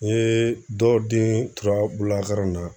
N ye dɔ den tora bololakaran na